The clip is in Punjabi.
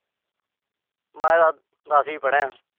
ਮੈਂ ਤਾਂ ਦਸ ਈਂ ਪੜ੍ਹਿਆ।